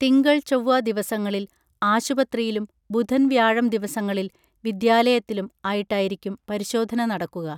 തിങ്കൾ ചൊവ്വ ദിവസങ്ങളിൽ ആശുപത്രിയിലും ബുധൻ വ്യാഴം ദിവസങ്ങളിൽ വിദ്യാലയത്തിലും ആയിട്ടായിരിക്കും പരിശോധന നടക്കുക